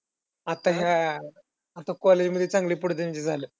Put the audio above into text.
आता ह्या आता college मध्ये चांगले पडू दे म्हणजे झालं.